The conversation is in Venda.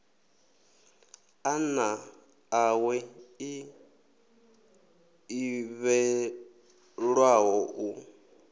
ḓana ḽawe ḽi ḓivhelwaho u